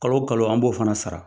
Kalo o kalo an b'o fana sara